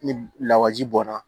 Ni lawaji bɔnna